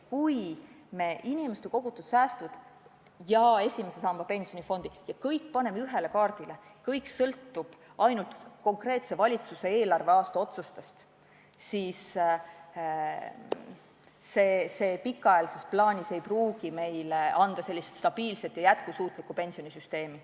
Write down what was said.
Kui me inimeste kogutud säästud ja esimese samba pensionifondid ja kõik sellise paneme ühele kaardile, kui kõik sõltub ainult konkreetse valitsuse konkreetse eelarveaasta otsustest, siis see pikaajalises perspektiivis ei pruugi meile anda stabiilset ja jätkusuutlikku pensionisüsteemi.